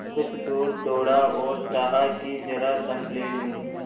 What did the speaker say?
कुछ दूर दौड़ा और चाहा कि जरा दम ले लूँ